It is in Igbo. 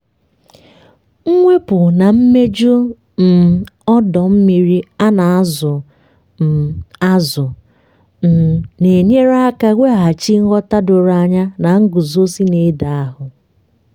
mwepu na imeju um ọdọ mmiri a na-azụ um azụ um na-enyere aka weghachi nghọta doro anya na nguzozi na-edozi ahụ.